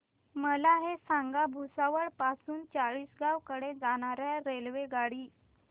मला हे सांगा भुसावळ पासून चाळीसगाव कडे जाणार्या रेल्वेगाडी